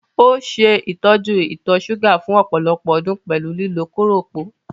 Ó ṣe ìtọ́jú ìtọ̀ ṣúgà fún ọ̀pọ̀lọpọ̀ ọdún pẹ̀lú lílo kóròpó.